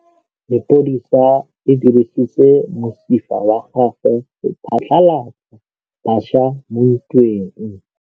Lepodisa le dirisitse mosifa wa gagwe go phatlalatsa batšha mo ntweng.